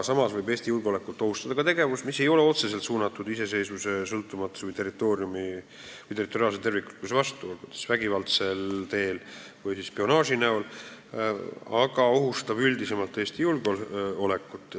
Samas võib Eesti julgeolekut ohustada ka tegevus, mis ei ole otseselt suunatud iseseisvuse ja sõltumatuse või territoriaalse terviklikkuse vastu, olgu vägivalla või spionaaži näol, aga mis ohustab Eesti julgeolekut üldisemalt.